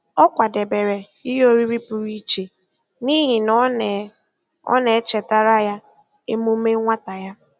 Ọ kwadebere ihe oriri pụrụ iche n'ihi na ọ na ọ na-echetara ya emume nwata ya.